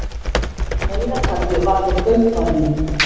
Neyðarkallið var frá kaupfarinu